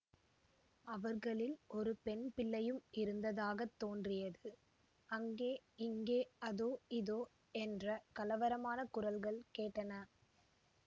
அவர்களில் ஒரு பெண் பிள்ளையும் இருந்ததாகத் தோன்றியது அங்கே இங்கே அதோ இதோ என்ற கலவரமான குரல்கள் கேட்டன